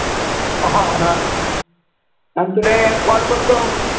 हा मग तुले call करतो.